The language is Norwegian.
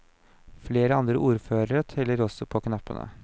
Flere andre ordførere teller også på knappene.